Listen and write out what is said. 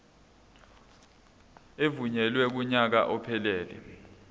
evunyelwe kunyaka ophelele